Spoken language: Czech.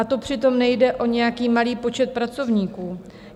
A to přitom nejde o nějaký malý počet pracovníků.